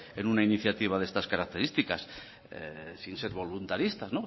en una iniciativa de estas características sin ser voluntaristas